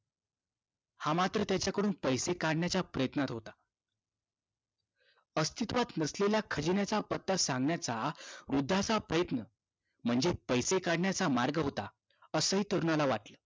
हा मात्र त्याच्याकडून पैसे काढण्याच्या प्रयत्नात होता. अस्तित्वात नसलेल्या खजिन्याचा पत्ता सांगण्याचा वृद्धाचा प्रयत्न म्हणजे पैसे काढण्याचा मार्ग होता. असंही तरुणाला वाटलं.